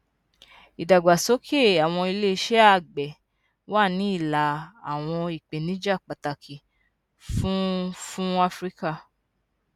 ìdàgbàsókè àwọn iléeṣẹ àgbẹ wà ní ìlà àwọn ìpèníjà pàtàkì fún fún áfíríkà